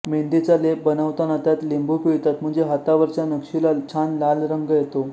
मेंदीचा लेप बनवताना त्यात लिंबू पिळतात म्हणजे हातावरच्या नक्षीला छान लाल रंग येतो